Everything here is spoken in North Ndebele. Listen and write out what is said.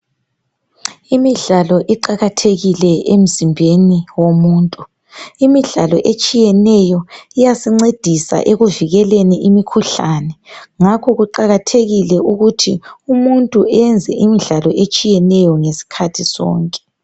Imidlalo iqakathekile emzimbeni womuntu . Imidlalo etshiyeneyo iyasincedisa ekuvikeleni imikhuhlane. Ngakho kuqakathekile ukuthi umuntu enze imidlalo etshiyeneyo ngesikhathi sonke.